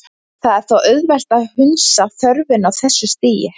Það er þó auðvelt að hunsa þörfina á þessu stigi.